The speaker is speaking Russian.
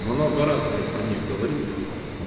много раз блять про них говорил и